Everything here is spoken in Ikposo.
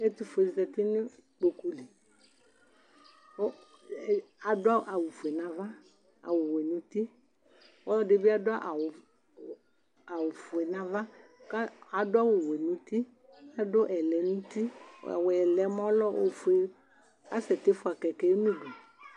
ɛtʊfue ɔlɔdɩ zati nʊ ikpoku li kʊ adʊ awufue n'ava nʊ awʊ wɛ nʊ uti, ɔlʊɛdɩ bɩ adʊ awufue n'ava kʊ adʊ ɔwɛ nʊ uti, adʊ ɛlɛnʊti, ɛlɛnʊti yɛ ofue kʊ asɛ ti fua utuvegele n'udu